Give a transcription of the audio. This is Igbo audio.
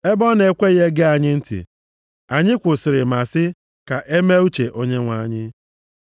Ebe ọ na-ekweghị ege anyị ntị, anyị kwụsịrị ma sị, “Ka e mee uche Onyenwe anyị.”